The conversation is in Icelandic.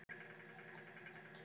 Hver á að spila í hægri bakverði?